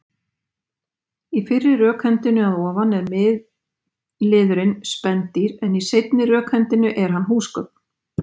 Í fyrri rökhendunni að ofan er miðliðurinn spendýr en í seinni rökhendunni er hann húsgögn.